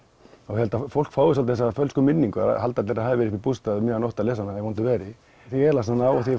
ég held að fólk fái þessa fölsku minningu halda að það hafi verið uppi í bústað um miðja nótt að lesa hana í vondu veðri þegar ég las hana og